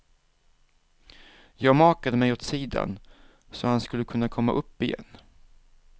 Jag makade mig åt sidan så han skulle kunna komma upp igen.